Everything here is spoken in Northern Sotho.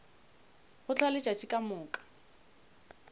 go hlwa letšatši ka moka